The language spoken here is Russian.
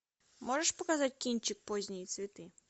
можешь показать кинчик поздние цветы